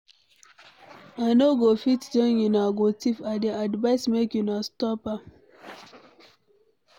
I no go fit join una go thief, I dey advice make una stop am.